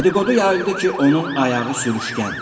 Dediqodu yayıldı ki, onun ayağı sürüşkəndir.